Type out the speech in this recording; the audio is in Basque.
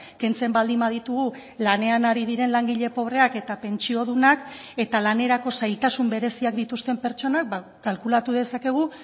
kentzen baldin baditugu lanean ari diren langile pobreak eta pentsiodunak eta lanerako zailtasun bereziak dituzten pertsonak kalkulatu dezakegu